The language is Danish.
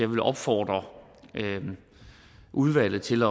vil opfordre udvalget til